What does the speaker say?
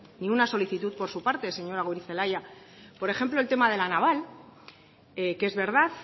ni una solicitud por su parte señora goirizelaia por ejemplo el tema de la naval que es verdad